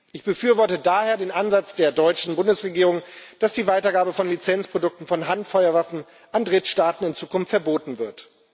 Ich befürworte daher den Ansatz der deutschen Bundesregierung, dass die Weitergabe von Lizenzprodukten von Handfeuerwaffen an Drittstaaten in Zukunft verboten wird.